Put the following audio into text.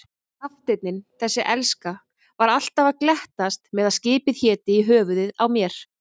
Kafteinninn, þessi elska, var alltaf að glettast með að skipið héti í höfuðið á mér.